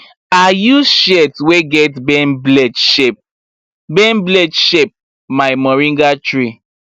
i use shears wey get bend blade shape bend blade shape my moringa tree